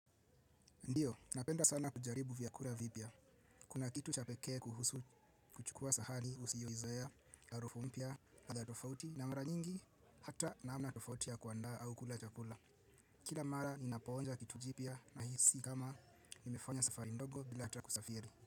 Ndiyo, napenda sana kujaribu vyakura vipya. Kuna kitu cha pekee kuhusu kuchukua sahani usiyoizoea, harufu mpya, ladha tofauti na mara nyingi, hata namna tofauti ya kuandaa au kula chakula. Kila mara ninaponja kitu jipya nahisi kama nimefanya safari ndogo bila ata kusafiri.